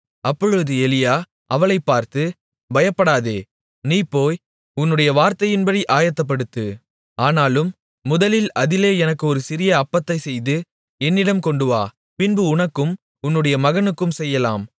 அப்பொழுது எலியா அவளைப் பார்த்து பயப்படாதே நீ போய் உன்னுடைய வார்த்தையின்படி ஆயத்தப்படுத்து ஆனாலும் முதலில் அதிலே எனக்கு ஒரு சிறிய அப்பத்தைச் செய்து என்னிடம் கொண்டுவா பின்பு உனக்கும் உன்னுடைய மகனுக்கும் செய்யலாம்